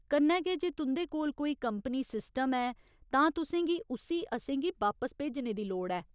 कन्नै गै जे तुं'दे कोल कोई कंपनी सिस्टम ऐ तां तुसें गी उस्सी असेंगी बापस भेजने दी लोड़ ऐ।